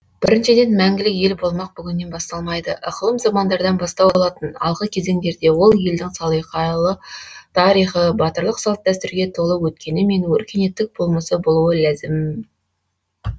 біріншіден мәңгілік ел болмақ бүгіннен басталмайды ықылым замандардан бастау алатын алғы кезеңдерде ол елдің салиқалы тарихы батырлық салт дәстүрге толы өткені мен өркениеттік болмысы болуы ләзім